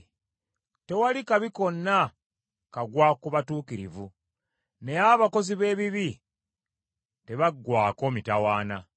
Tewali kabi konna kagwa ku batuukirivu, naye abakozi b’ebibi tebaggwaako mitawaana.